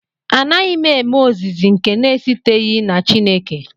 Anaghị m eme ozizi nke na-esiteghị na Chineke